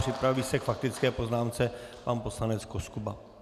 Připraví se k faktické poznámce pan poslanec Koskuba.